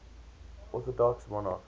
orthodox monarchs